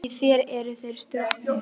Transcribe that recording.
En í þér eru þeir stroknir.